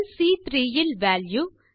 செல் சி3 இல் வால்யூ